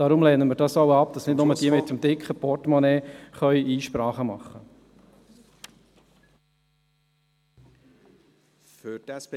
Deshalb lehnen wir dies ab, damit nicht nur jene mit einem dicken Portemonnaie Einsprachen machen können.